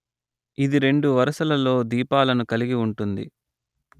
ఇది రెండు వరుసలలో దీపాలను కలిగి ఉంటుంది